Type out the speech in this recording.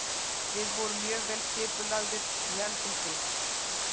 Við vorum mjög vel skipulagðir og héldum því.